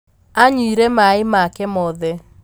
Anyuire maĩmake mothe.